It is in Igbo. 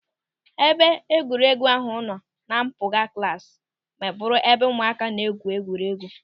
Ebe egwuregwu ahụ nọ na mpụga klasi ma bụrụ ebe ụmụaka na-egwu egwuregwu.